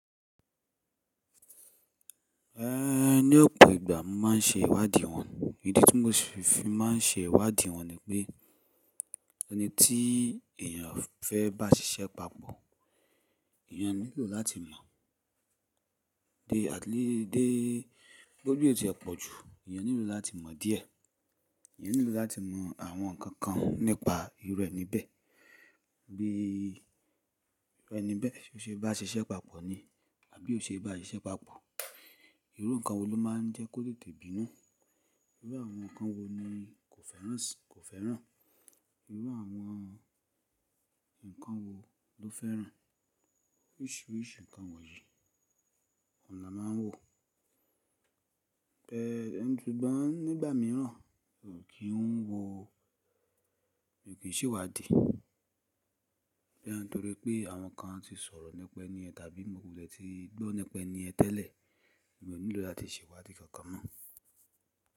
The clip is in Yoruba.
Eh, ní ọ̀pọ̀ ìgbà mo má n ṣe ìwádìí wọn. Ìdí tí mo fi má n ṣe ìwádìí wọn ni pé, ẹni tí èèyàn fẹ́ bá ṣiṣẹ́ papọ̀, èèyàn nílò láti mọ̀. Dé àti lé, dé bi o ti e pọ̀jù, èèyàn nílò láti mọ̀ díẹ̀. Èèyàn nílò láti mọ̀ àwọn nǹkan kan nípa irù ení bẹ̀. Bí irù ení bẹ̀ ṣe bá ṣiṣẹ́ papọ̀ ni, àbí ò ṣe bá ṣiṣẹ́ papọ̀. Irú nǹkan wo ló má n jẹ́ kó tètè bínú. Irú àwọn nǹkan wo ni kò fẹ́ràn, kò fẹ́ràn. Irú àwọn nǹkan wo ló fẹ́ràn. Oríṣìíríṣìí nǹkan wọ̀nyí, ohun la má n wò. Ẹ̀, ẹni tó gbọ́n nígbà míràn ò kí n wò, ò kí n ṣe ìwádìí. Boya torí pé àwọn kan ti sọ̀rọ̀ nípa ẹni yẹn tàbí mo lè ti gbọ́ nípa ẹni yẹn tẹ́lẹ̀, èmi ò nílò láti ṣe ìwádìí kankan mọ́.